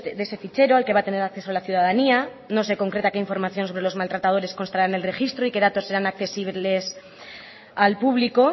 de ese fichero al que va a tener acceso la ciudadanía no se concreta que información sobre los maltratadores constará en el registro y qué datos serán accesibles al público